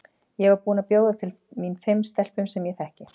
Ég var búin að bjóða til mín fimm stelpum sem ég þekki.